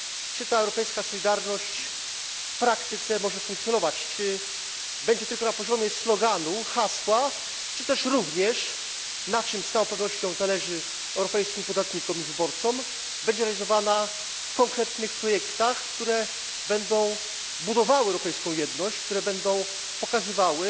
czy ta europejska solidarność w praktyce może funkcjonować, czy będzie tylko na poziomie sloganu, hasła, czy też również na czym z całą pewnością zależy europejskim podatnikom i wyborcom będzie realizowana w konkretnych projektach, które będą budowały europejską jedność, które będą pokazywały,